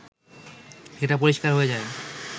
এটা পরিষ্কার হয়ে যায়